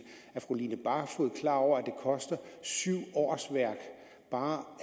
er fru line barfod klar over at det koster syv årsværk bare